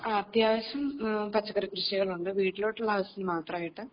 ആ അത്യാവശ്യം പച്ചക്കറി കൃഷികൾ ഉണ്ട് വീട്ടിലോട്ടുള്ള ആവശ്യത്തിന് മാത്രമായിട്ട്